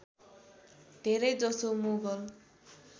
धेरै जसो मुगल